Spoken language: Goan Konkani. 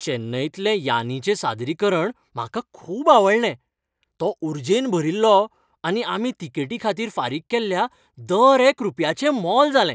चेन्नईतलें यान्नीचें सादरीकरण म्हाका खूब आवडलें. तो उर्जेन भरील्लो आनी आमी तिकेटीखातीर फारीक केल्ल्या दर एक रुपयाचें मोल जालें .